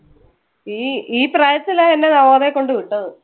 ഇ~ഈ പ്രായത്തിലാ എന്നെ നവോദയയിൽ കൊണ്ട് വിട്ടത്. ഈ പ്രായത്തിലാണെന്ന് എന്നെ നവോദയയിൽ കൊണ്ട് വിട്ടത്.